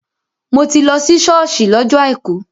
Mò ti lọ sí ṣọ́ọ̀ṣì lọ́jọ àìkú.